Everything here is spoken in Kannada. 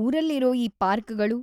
ಊರಲ್ಲಿರೋ ಈ ಪಾರ್ಕ್‌ಗಳು